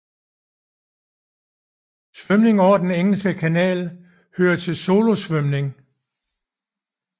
Svømning over Den Engelske Kanal hører til solosvømning